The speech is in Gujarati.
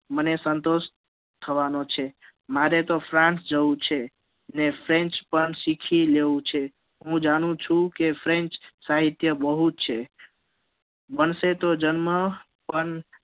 મને સંતોષ થવા નો છે મારે તો france જવું છે અને french પણ સીખી લેવું છે હું જાણું છું કે french સાહિત્ય બહુજ બનશે તો german